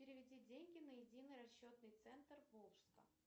переведи деньги на единый расчетный центр волжска